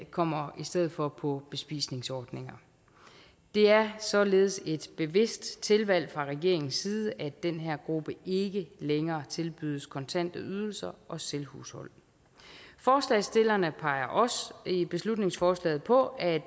kommer i stedet for på bespisningsordninger det er således et bevidst tilvalg fra regeringens side at den her gruppe ikke længere tilbydes kontante ydelser og selvhushold forslagsstillerne peger også i beslutningsforslaget på at